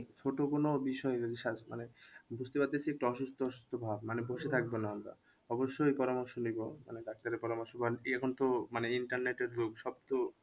ছোট কোন বিষয় যদি মানে বুঝতে পারতেছি একটু অসুস্থ অসুস্থ ভাব মানে বসে থাকবো না আমরা অবশ্যই পরামর্শ নিবো মানে ডাক্তারের পরামর্শ বা ইয়ে কিন্তু মানে internet এর যুগ সব তো